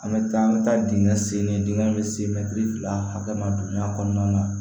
An bɛ taa an bɛ taa dingɛ sen ni dingɛ in bɛ se mɛtiri fila hakɛ ma don min a kɔnɔna na